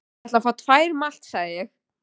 Ég ætla að fá tvær malt, sagði ég.